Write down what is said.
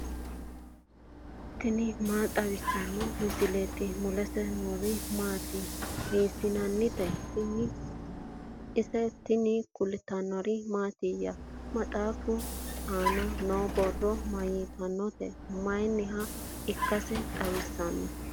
tini maa xawissanno misileeti ? mulese noori maati ? hiissinannite ise ? tini kultannori mattiya? maxxafichu aanna noo borro mayiittanotte? Mayiniha ikkassi xawissanno?